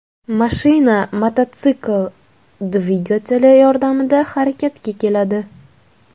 Mashina mototsikl dvigateli yordamida harakatga keladi.